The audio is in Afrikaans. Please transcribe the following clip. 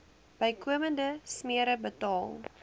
bykomende smere betaal